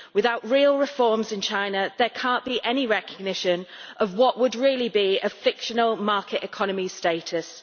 without real reforms in China there cannot be any recognition of what would really be a fictional market economy status.